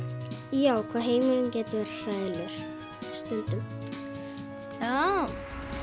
já hvað heimurinn getur verið hræðilegur stundum já